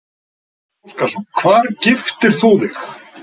Gísli Óskarsson: Hvar giftir þú þig?